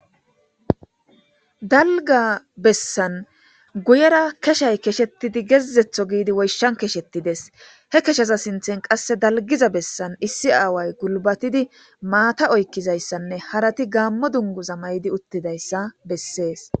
Dalgga bessan guyera keshayi keshetiddi woyshshan keshettideesi. He keshaza sinthan qasse dalggiza bessan issi aawayi gulbatidi maata oykkizayssanne harati gaamo dungguza mayidi uttidayssa beseesi.